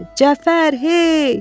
Cəfər, hey!